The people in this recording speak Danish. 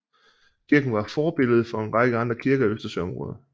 Kirken var forbillede for en række andre kirker i Østersøområdet